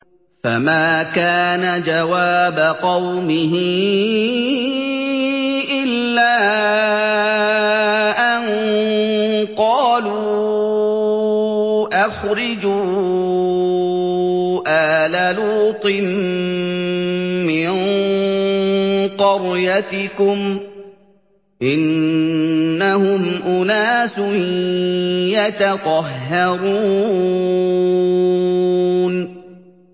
۞ فَمَا كَانَ جَوَابَ قَوْمِهِ إِلَّا أَن قَالُوا أَخْرِجُوا آلَ لُوطٍ مِّن قَرْيَتِكُمْ ۖ إِنَّهُمْ أُنَاسٌ يَتَطَهَّرُونَ